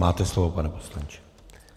Máte slovo, pane poslanče.